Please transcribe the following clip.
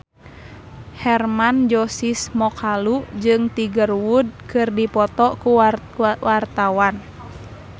Hermann Josis Mokalu jeung Tiger Wood keur dipoto ku wartawan